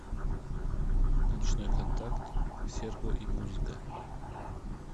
ночной контакт серго и музыка